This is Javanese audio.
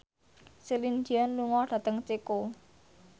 Celine Dion lunga dhateng Ceko